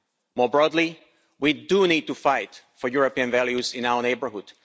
More broadly, we do need to fight for European values in our neighbourhood.